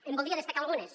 en voldria destacar algunes